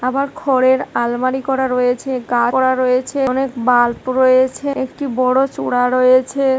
আবার খড়ের আলমারি করা রয়েছে গা করা রয়েছে অনেক বাল্প রয়েছে একটি বড় চূড়া রয়েছে।